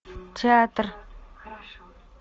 театр